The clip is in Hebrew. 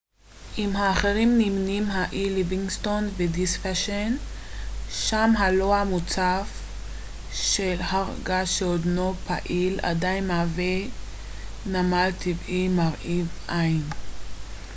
עם האחרים נמנים האי ליווינגסטון ודיספשן שם הלוע המוצף של הר געש שעודנו פעיל עדיין מהווה נמל טבעי מרהיב עין